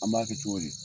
An b'a kɛ cogo di